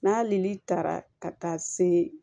N'a hali ni taara ka taa se